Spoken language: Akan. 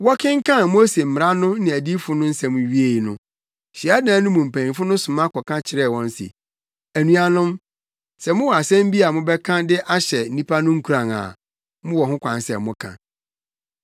Wɔkenkan Mose Mmara no ne Adiyifo no nsɛm wiei no, hyiadan no mu mpanyimfo no soma kɔka kyerɛɛ wɔn se, “Anuanom, sɛ mowɔ asɛm bi a mobɛka de ahyɛ nnipa no nkuran a, mowɔ ho kwan sɛ moka.”